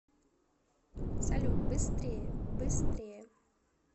салют быстрее быстрее